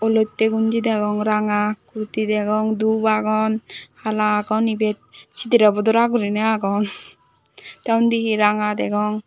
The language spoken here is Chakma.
olotey gonji degong ranga kurti degong dub agon hala agon ibet sidirey bodora guriney agon te undi he ranga degong.